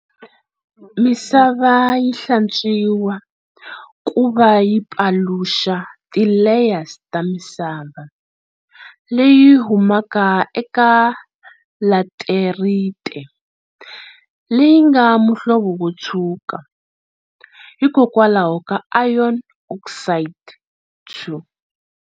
Misava yi hlantswiwa kuva yi paluxa ti layers ta misava leyi humaka eka laterite leyingana muhlovo wotshuka hikwalaho ka iron oxide II.